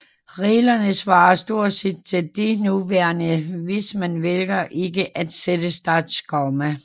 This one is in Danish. Reglerne svarer stort set til de nuværende hvis man vælger ikke at sætte startkomma